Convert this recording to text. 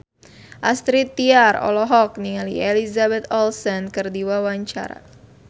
Astrid Tiar olohok ningali Elizabeth Olsen keur diwawancara